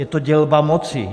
Je to dělba moci.